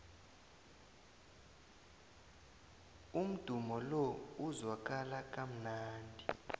umdumo lo uzwakala kamnandi